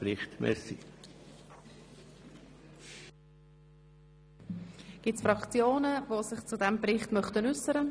Möchte sich hierzu jemand seitens der Fraktionen äussern?